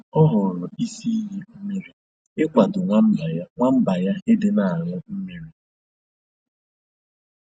Ọ họọrọ isi iyi mmiri ịkwado nwamba ya nwamba ya ịdị na añụ mmírí